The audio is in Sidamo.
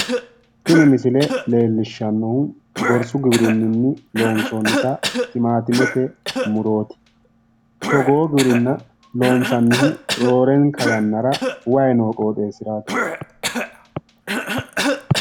Tini misile leellishshannohu gorsu giwirinni loonsoonnita timaatimete murooti, togoo giwirinna loonsannihu roorenkanni yannara way noo qooxxeesiraati.